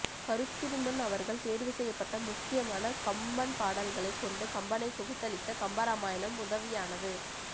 கருத்திருமன் அவர்கள் தேர்வுசெய்யப்பட்ட முக்கியமான கம்பன்பாடல்களைக் கொண்டு கம்பனை தொகுத்தளித்த கம்பராமாயணம் உதவியானது